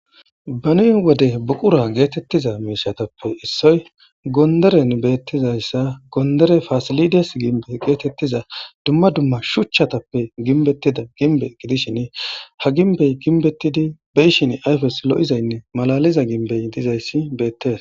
Beni wode buqura geetettiza miishatappe issoy gonderen beettizayssa gondere fasilides gimbe geetettiza dumma dumma shuchchatappe ginbettida ginbe gidishin ha ginbey ginbettidi beyshin ayfes lo7izaynne malaliza gimbey dizayssi beettees